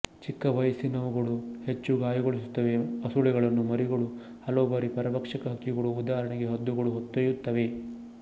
ಚಿಕ್ಕ ವಯಸ್ಸಿನವುಗಳು ಹೆಚ್ಚು ಗಾಯಗೊಳಿಸುತ್ತವೆ ಹಸುಳೆಗಳನ್ನು ಮರಿಗಳು ಹಲವು ಬಾರಿ ಪರಭಕ್ಷಕ ಹಕ್ಕಿಗಳು ಉದಾಹರಣೆಗೆ ಹದ್ದುಗಳು ಹೊತ್ತೊಯ್ಯುತ್ತವೆ